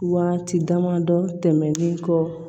Waati damadɔ tɛmɛnlen kɔ